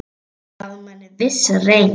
Það gaf manni vissa reisn.